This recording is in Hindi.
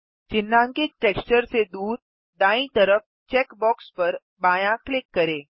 चिह्नांकित टेक्सचर से दूर दायीं तरफ चेक बॉक्स पर बायाँ क्लिक करें